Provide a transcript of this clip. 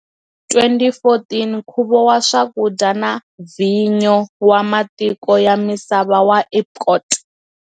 2014 Nkhuvo wa Swakudya na Vhinyo wa Matiko ya Misava wa Epcot.